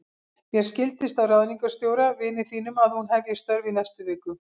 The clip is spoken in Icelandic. Mér skildist á ráðningarstjóra, vini þínum, að hún hefji störf í næstu viku.